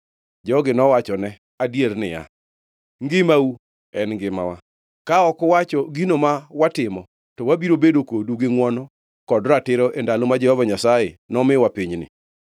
Jogi nowachone adier niya, “Ngimau en ngimawa! Ka ok uwacho gino ma watimo, to wabiro bedo kodu gi ngʼwono kod ratiro e ndalo ma Jehova Nyasaye nomiwa pinyni.”